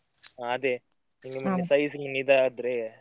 ಹ ಅದೇ ನಿಮ್ಗೆ ಮಿನಿ size ಮಿನಿ ಇದ್ ಆದ್ರೆ.